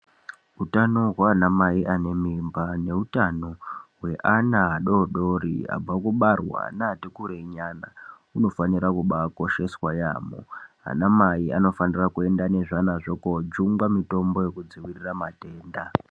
Utano hwaanamai anemimba neutano hweana adodori abva kubarwa neati kure nyana unofanira kubaakosheswa yaamho. Anamai anofanira kuenda nezvana zvo koojungwa mitombo wekudziirira matenda.